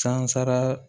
Sansara